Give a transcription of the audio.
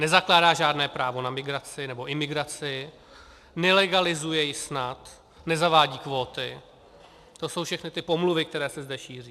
Nezakládá žádné právo na migraci nebo imigraci, nelegalizuje ji snad, nezavádí kvóty, to jsou všechno ty pomluvy, které se zde šíří.